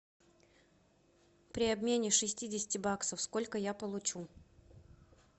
при обмене шестидесяти баксов сколько я получу